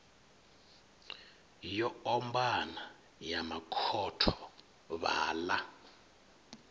yo ombana ya makhotho vhaḽa